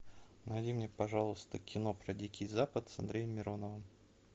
найди мне пожалуйста кино про дикий запад с андреем мироновым